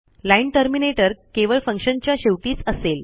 line terminator केवळ फंक्शनच्या शेवटीच असेल